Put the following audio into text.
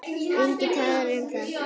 Enginn talar um það.